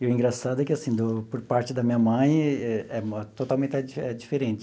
E o engraçado é que, assim, do por parte da minha mãe, é é totalmente é diferente.